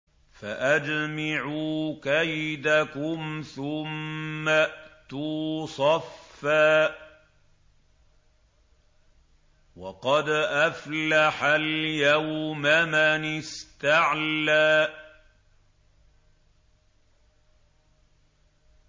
فَأَجْمِعُوا كَيْدَكُمْ ثُمَّ ائْتُوا صَفًّا ۚ وَقَدْ أَفْلَحَ الْيَوْمَ مَنِ اسْتَعْلَىٰ